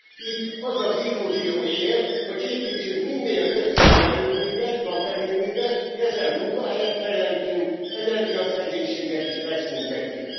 Itt az az illúzió él, hogy építsünk minél több szélerőművet, naperőművet, ezzel munkahelyet teremtünk, az energiaszegénységet is megszüntetjük.